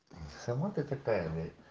сама ты такая бля